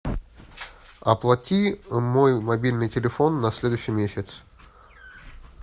оплати мой мобильный телефон на следующий месяц